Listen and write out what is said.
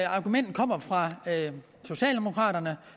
argument kommer fra socialdemokraterne